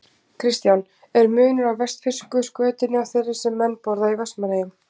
Kristján: Er munur á vestfirsku skötunni og þeirri sem menn borða í Vestmannaeyjum?